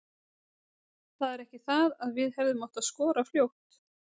Það er ekki það að við hefðum átt að skora fljótt.